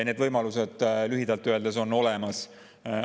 Need võimalused on lühidalt öeldes olemas.